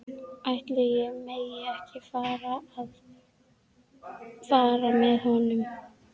Ætli ég megi ekki fara með honum?